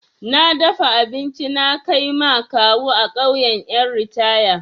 Na dafa abinci na kai ma kawu a ƙauyan ƴan ritaya.